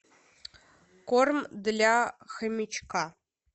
корм для хомячка